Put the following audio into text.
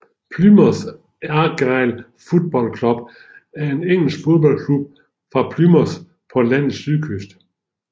Plymouth Argyle Football Club er en engelsk fodboldklub fra Plymouth på landets sydkyst